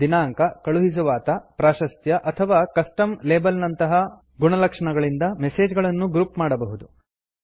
ದಿನಾಂಕ ಕಳುಹಿಸುವಾತ ಪ್ರಾಶಸ್ತ್ಯ ಅಥವಾ ಕಸ್ಟಮ್ ಲೇಬಲ್ ನಂತಹ ಗುಣಲಕ್ಷಣಗಳಿಂದ ಮೆಸೆಜ್ ಗಳನ್ನು ಗ್ರುಪ್ ಮಾಡಬಹುದು